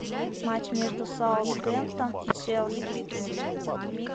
матч между саутгемптон и челси